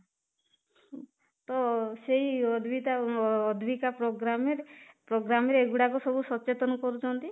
ତ ସେଇ ପ୍ରୋଗ୍ରାମ ରେ ପ୍ରୋଗ୍ରାମରେ ଏଗୁଡ଼ାକ ସବୁ ସଚେତନ କରୁଛନ୍ତି